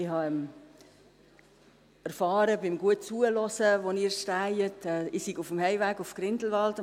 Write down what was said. Ich habe beim guten Zuhören, wo Sie stehen, erfahren, dass ich um 18.30 Uhr auf dem Heimweg nach Grindelwald sei.